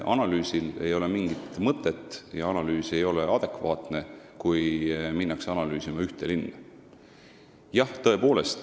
Analüüsil ei ole mingit mõtet ja see ei ole adekvaatne, kui minna analüüsima ühte linna.